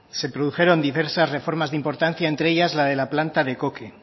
se produjeron diversas reformas de importancia entre ellas la de la planta de coque